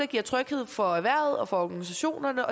giver tryghed for erhvervet og for organisationerne